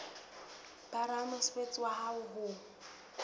ba ramosebetsi wa hao ho